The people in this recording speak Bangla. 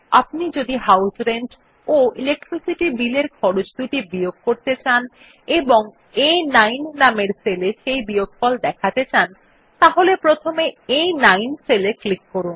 আপনি যদি হাউস রেন্ট ও ইলেকট্রিসিটি Bill এর খরচদুটি বিয়োগ করতে চান এবং আ9 নামের সেলে সেই বিয়োগফল দেখাতে চান তাহলে প্রথমে আ9 সেলে ক্লিক করুন